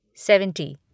seventy